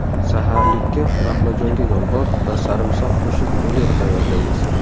Saharlikka baqlajonga yong‘oq va sarimsoq qo‘shib rulet tayyorlaymiz.